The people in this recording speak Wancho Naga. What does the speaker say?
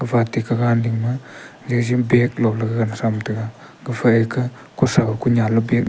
gafa ate kahgan dingma jaji bag lo gagan thamtaga gafa ekah kothau konyan ley bag.